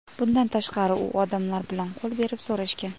Bundan tashqari, u odamlar bilan qo‘l berib so‘rashgan.